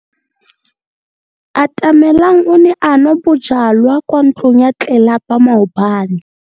Atamelang o ne a nwa bojwala kwa ntlong ya tlelapa maobane.